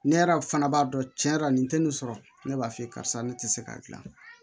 Ne yɛrɛ fana b'a dɔn cɛn yɛrɛ la nin tɛ nin sɔrɔ ne b'a f'i ye karisa ne ti se ka gilan